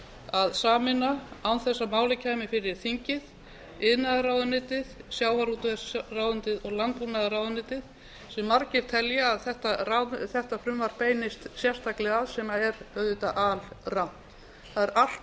að sameina án þess að málið kæmi fyrir þingið iðnaðarráðuneytið sjávarútvegsráðuneytið og landbúnaðarráðuneytið sem margir telja að þetta frumvarp beinist sérstaklega að sem er auðvitað alrangt það er allt